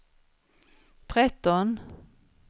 tretton